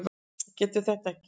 Getur þetta ekki.